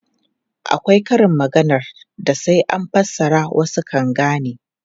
Akwai karin maganar da sai an fassara wasu kan gane.